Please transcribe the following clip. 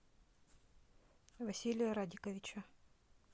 василия радиковича